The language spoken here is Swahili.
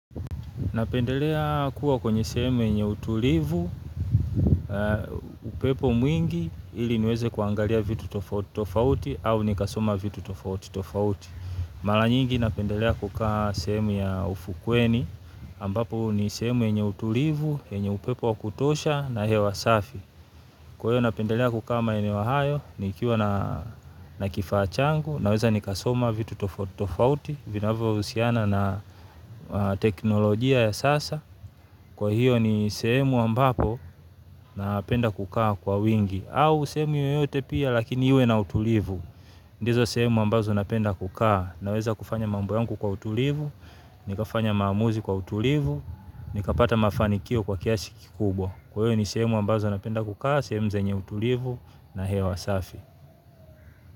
Napendelea kuwa kwenye sehemu yenye utulivu, upepo mwingi ili niweze kuangalia vitu tofauti au nikasoma vitu tofauti tofauti. Malanyingi napendelea kukaa sehemu ya ufukweni ambapo ni sehemu yenye utulivu, yenye upepo wa kutosha na hewa safi. Kwa hiyo napendelea kukaa maeneo hayo, nikiwa na kifaa changu, naweza nikasoma vitu tofauti, vinavyo husiana na teknolojia ya sasa. Kwa hiyo ni sehemu ambapo napenda kukaa kwa wingi, au sehemu yoyote pia lakini iwe na utulivu. Ndizo sehemu ambazo napenda kukaa, naweza kufanya mambo yangu kwa utulivu, nikafanya maamuzi kwa utulivu, nikapata mafanikio kwa kiasi kikubwa. Kwa hio ni sehemu ambazo napenda kukaa, sehemu zenye utulivu na hewa safi.